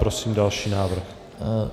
Prosím další návrh.